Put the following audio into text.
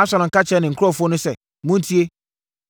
Absalom ka kyerɛɛ ne nkurɔfoɔ no sɛ, “Montie!